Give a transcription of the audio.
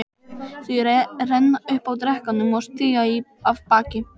Þau renna upp að drekanum og stíga af baki.